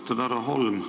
Austatud härra Holm!